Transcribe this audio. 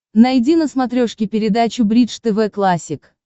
найди на смотрешке передачу бридж тв классик